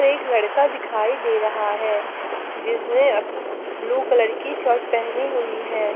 एक लड़का दिखाई दे रहा है जिसने अह ब्लू कलर की शर्ट पहनी हुई है।